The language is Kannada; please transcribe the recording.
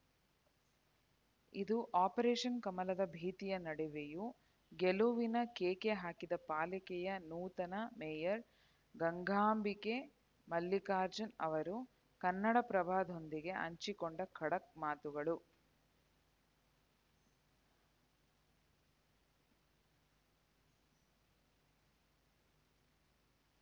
ಇದು ಆಪರೇಷನ್‌ ಕಮಲದ ಭೀತಿಯ ನಡುವೆಯೂ ಗೆಲುವಿನ ಕೇಕೆ ಹಾಕಿದ ಪಾಲಿಕೆಯ ನೂತನ ಮೇಯರ್‌ ಗಂಗಾಂಬಿಕೆ ಮಲ್ಲಿಕಾರ್ಜುನ್‌ ಅವರು ಕನ್ನಡಪ್ರಭದೊಂದಿಗೆ ಹಂಚಿಕೊಂಡು ಖಡಕ್‌ ಮಾತುಗಳು